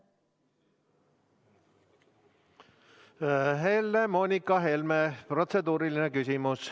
Helle-Moonika Helme, protseduuriline küsimus.